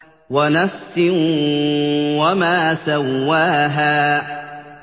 وَنَفْسٍ وَمَا سَوَّاهَا